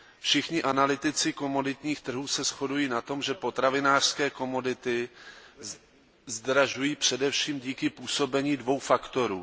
Všichni analytici komoditních trhů se shodují na tom, že potravinářské komodity zdražují především díky působení dvou faktorů.